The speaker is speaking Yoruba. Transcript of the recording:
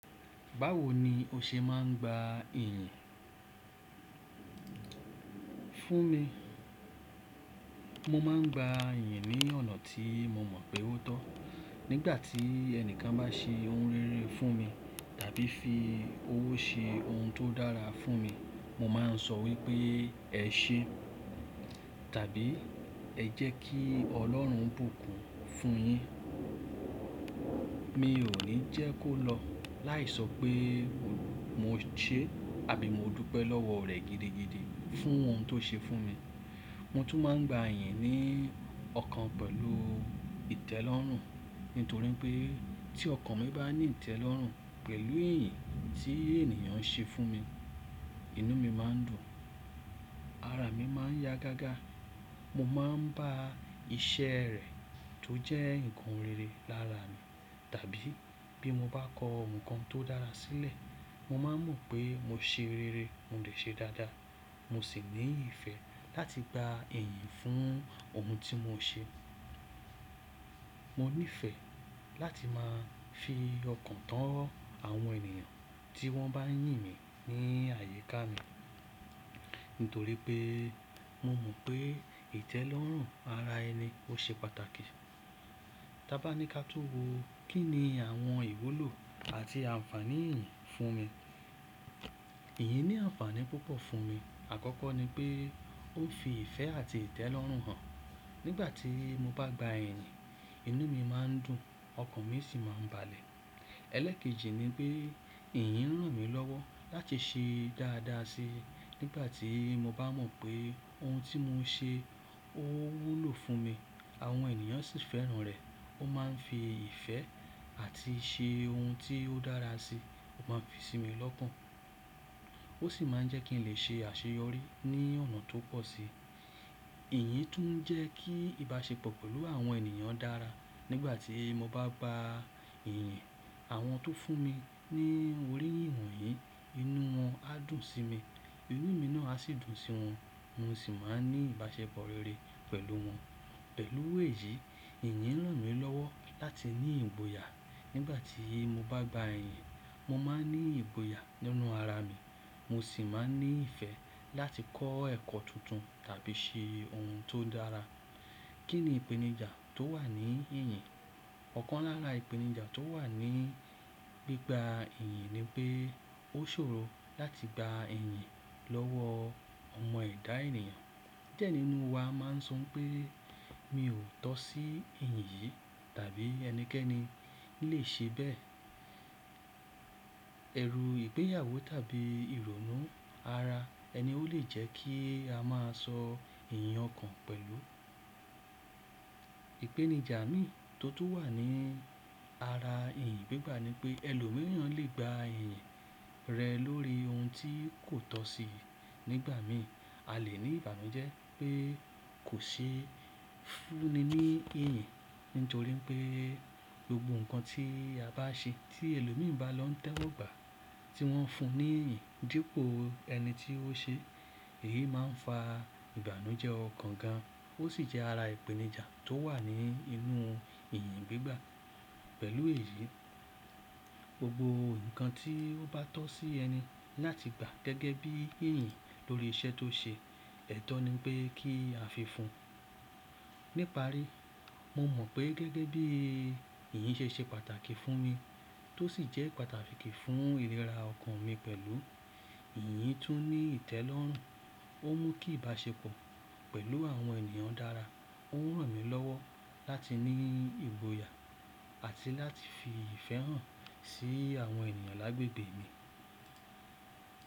Báwo ni o ṣe máà ń gba ìyìn? Fún mi, mo máa ń gba ìyìn ní ọ̀nà tí mo mọ̀ pé ó tọ́. Nígbàtí ẹnìkan base oun rere fún mi tàbí fi owo ṣe oun to dára fúnmi, mo man so wípé ese tàbí ejeki Ọlọ́run bùkún fún yin. Mi ò ní jẹ́ kó lọ láì sọ pé mo ṣe àbí mo dúpẹ́ lọ́wọ́ rẹ̀ gidigidi fún ohun tó ṣe fún mi. Mo tún máa ń gba ìyìn ní ọkàn pẹ̀lú ìtẹ́lọ́rùn. Nítorí pé tí ọkàn mi bá ní ìtẹ́lọ́rùn pẹ̀lú ìyìn tí ènìyàn ṣe fún mi, inú mi máa ń dùn, ara mi máa ń ya gágá. Mo máa ń bá iṣẹ́ rẹ tó jẹ́ nǹkan rere lára mi. Tàbí bí mo bá kọ ohun kan tó dára sílẹ̀, mo máa mọ̀ pé mo ṣe rere, mo rẹ̀ ṣe dáadáa. Mo sì ní ìfẹ́ láti gba ìyìn fún ohun tí mo ṣe. Mo nífẹ̀ẹ́ láti máa fi ọkàn tán àwọn ènìyàn tí wọ́n bá yìn mí ní àyíká mi. Nítorí pé mo mọ̀ pé ìtẹ́lọ́rùn ara ẹni ó ṣe pàtàkì. Tábá ni ká tún wo. Kíni àwọn ìwúlò àti ànfàní ìyìn fúnmi. Ìyìn ní àǹfàní púpọ̀ fún mi. Àkọ́kọ́ ni pé ó fi ìfẹ́ àti ìtẹ́lọ́rùn hàn. Nígbà tí mo bá gba ìyìn, inú mi máa ń dùn, ọkàn mi sì máa ń balẹ̀. Ẹlẹ́kejì ni pé ìyìn ràn mí lọ́wọ́ láti ṣe dáadáa si. Nígbà tí mo bá mọ̀ pé ohun tí mò ń ṣe ó wúlò fún mi, àwọn ènìyàn sì fẹ́ràn rẹ̀, ó máa ń fi ìfẹ́ àti ṣe ohun tí ó dára si, ó máa fi sí mi lọ́kan. Ó sì máa jẹ́ kí n lè ṣe àṣeyọrí ní ọ̀nà tó pọ̀ síi. Ìyìn tún jẹ́ kí ìbáṣepọ̀ pẹ̀lú àwọn ènìyàn dára. Nígbà tí mo bá gba ìyìn, àwọn tó fún mi ní oríyìn wọ̀nyí, inú wọn á dùn sí mi, inú mi náà á sì dùn sí wọn, mo sì máa ní ìbáṣepọ̀ rere pẹ̀lú wọn. Pẹ̀lú èyí, ìyìn ràn mí lọ́wọ́ láti ní ìgboyà. Nígbà tí mo bá gba ìyìn, mo máa ń ní ìgboyà nínú ara mi, mo sì máa ń ní ìfẹ́ láti kọ́ ẹ̀kọ́ tuntun tàbí ṣe ohun tó dára. Kí ni ìpẹ̀nìjà tó wà ní ìyìn? Ọ̀kan lára ìpẹ̀nìjà tó wà ní gbígba ìyìn ni pé ó ṣòro láti gba ìyìn lọ́wọ́ ọmọ ẹ̀dá ènìyàn. Díẹ̀ nínú wa máa ń sọ pé "mi ò tọ́ sí ìyìn yìí" tàbí "ẹnikẹ́ni ì lè ṣe bẹ́ẹ̀". Ẹ̀rù ìgbéyàwó tàbí ìrònú ara ẹni ó lè jẹ́ kí a máa sọ ìyìn ọkàn pẹ̀lú. Ìpẹ̀nìjà mìí tó tó wà ní ara ìyìn gbígbà ni pé ẹlòmíràn lè gba ìyìn rẹ̀ lórí ohun tí kò tọ́ síi nígbà míì. A lè ní ìbánú jẹ́ pé kò sí fúnni ní ìyìn. Nítorí pé gbogbo nǹkan tí a bá ṣe tí ẹlòmíràn bá lọ́ tẹ́ ọ gbà tí wọ́n fún ní ìyìn dípò ẹni tí ó ṣe, èyí máa ń fa ìbánú jẹ́ ọ̀kan gan-an. Ó sì jẹ́ ara ìpẹ̀nìjà tó wà ní inú ìyìn gbígbà. Pẹ̀lú èyí, gbogbo nǹkan tí ó bá tọ́ sí ẹni láti gba gẹ́gẹ́ bí ìyìn lórí iṣẹ́ tó ṣe, ẹ̀tọ́ ni pé kí a fi fún. Ní ìparí, mo mọ̀ pé gẹ́gẹ́ bí ìyìn ṣe ṣe pàtàkì fún mi, tó sì jẹ́ pàtàkì fún ìríra ọkàn mi pẹ̀lú, ìyìn tún ní ìtẹ́lọ́rùn, ó mú kí ìbáṣepọ̀ pẹ̀lú àwọn ènìyàn dára, ó ràn mí lọ́wọ́ láti ní ìgboyà, àti láti fi ìfẹ́ hàn sí àwọn ènìyàn lágbègbẹ́ mi.